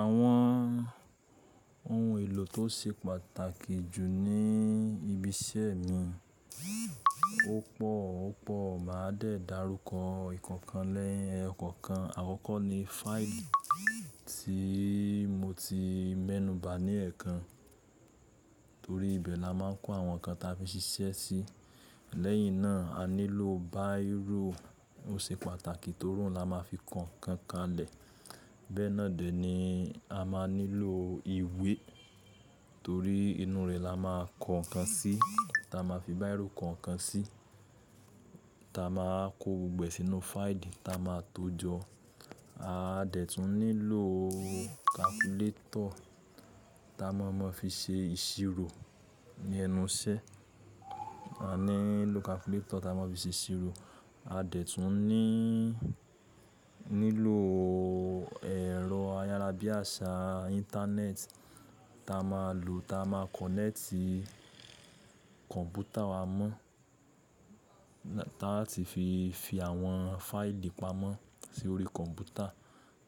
Àwọn ohun èlò tó ṣe pàtàkì jù ní ibi iṣẹ́ mi, ọ̀ pọ̀, ọ̀ pọ̀. Màá dẹ̀ darúkọ ìkokan ni eyo kọ̀kan. Àkọ́kọ́ ni fáìlì tí mo ti mẹ́nuba ní ẹ̀ẹ̀kan, torí ibẹ̀ la máa ń kó àwọn nǹkan ta fi ṣiṣẹ́ sí. Lẹ́yìn náà, a nílò báírò. Ó ṣe pàtàkì torí òun la máa fi ko nǹkan lẹ̀. Bẹ́ẹ̀ náà dẹ̀ ni a máa nílò ìwé torí inú rẹ̀ la máa kọ́ ǹkan sí ta máa fi báírò kan ǹkan sí, ta máa kó gbogbo sínú fáìlì ta máa tó jọ. A dẹ̀ tún nílò kàkúlétọ̀ ta má mọ fi ṣe ìṣirò ní ẹnu iṣẹ́. A nílò kàkúlétọ̀ ta má mọ fi ṣe ìṣirò. A dẹ̀ tún nílò ẹ̀rọ ayárabíàṣá Íńtánẹ́ẹ̀tì ta má lò ta má kọ̀nẹ́tì kọ̀ǹpútà wa mọ́, ta tí fi fi àwọn fáìlì pamọ́ sí orí kọ̀ǹpútà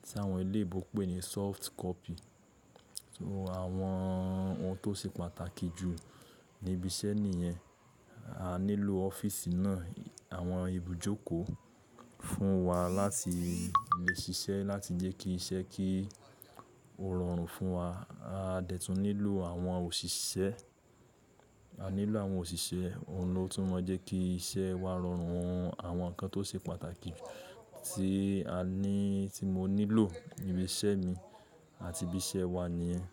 tí àwọn ilé ìgbòkèpé ń sọ́ọ̀fù kọ́pì. So àwọn ohun tó ṣe pàtàkì jù níbi iṣẹ́ nìyẹn. A nílò ọ́fíìsì náà, àwọn ibùjókòó fún wa láti lè ṣiṣẹ́, láti jẹ́ kí iṣẹ́ kí ó rọrùn fún wa. A dẹ̀ tún nílò àwọn òṣìṣẹ́, a nílò àwọn òṣìṣẹ́, òun ló tún mọ jẹ́ kí iṣẹ́ wa rọrùn. Àwọn nǹkan tó ṣe pàtàkì tí a ní, tí mo nílò níbi iṣẹ́ mi àti ibi iṣẹ́ wa ni yẹ́n.